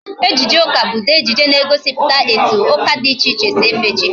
Ejije ụka bụ ụdị ejije na-egosiputa otu ụka dị iche iche si efe chi ha